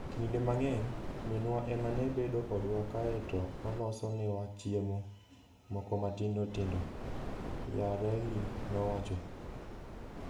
Kinde mang'eny, minwa ema ne bedo kodwa kae to oloso newa chiemo moko matindo tindo, Yarely nowacho.